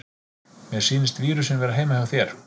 Mér sýnist vírusinn vera heima hjá þér.